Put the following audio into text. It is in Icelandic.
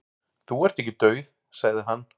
"""Þú ert ekki dauð, sagði hann."""